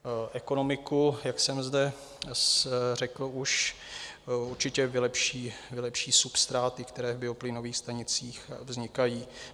Ekonomiku, jak jsem zde řekl už, určitě vylepší substráty, které v bioplynových stanicích vznikají.